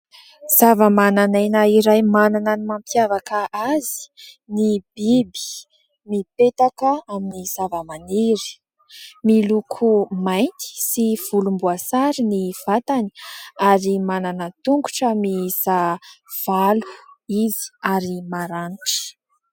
Zavamananaina iray manana ny mampiavaka azy ny biby, mipetaka amin'ny zavamaniry. Miloko mainty sy volomboasary ny vatany ary manana tongotra miisa valo izy ary maranitra.